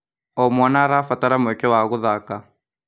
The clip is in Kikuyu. O mwana arabatara mweke wa gũthaka.